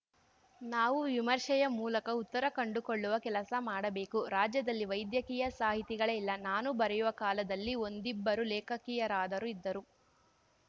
ನಾವು ವಿಮರ್ಶೆಯ ಮೂಲಕ ಉತ್ತರ ಕಂಡುಕೊಳ್ಳುವ ಕೆಲಸ ಮಾಡಬೇಕು ರಾಜ್ಯದಲ್ಲಿ ವೈದ್ಯಕೀಯ ಸಾಹಿತಿಗಳೇ ಇಲ್ಲ ನಾನು ಬರೆಯುವ ಕಾಲದಲ್ಲಿ ಒಂದಿಬ್ಬರು ಲೇಖಕಿಯರಾದರೂ ಇದ್ದರು